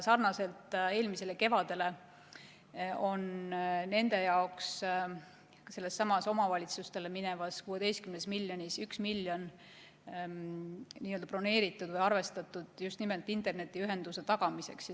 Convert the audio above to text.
Sarnaselt eelmisele kevadele on nende jaoks sellestsamast omavalitsustele minevast 16 miljonist eurost 1 miljon nii-öelda broneeritud või arvestatud just nimelt internetiühenduse tagamiseks.